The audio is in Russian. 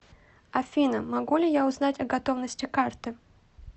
афина могу ли я узнать о готовности карты